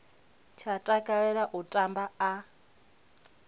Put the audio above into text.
tsha takalela u tamba a